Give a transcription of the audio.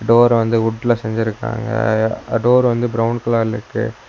டோர்ர வந்து உட்ல செஞ்சிருக்காங்க டோர்ரு வந்து ப்ரௌன் கலர்ல இருக்கு.